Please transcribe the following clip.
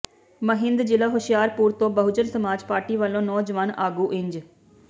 ਮਹਿੰਦਜ਼ਿਲ੍ਹਾ ਹੁਸ਼ਿਆਰਪੁਰ ਤੋਂ ਬਹੁਜਨ ਸਮਾਜ ਪਾਰਟੀ ਵੱਲੋਂ ਨੌਜਵਾਨ ਆਗੂ ਇੰਜ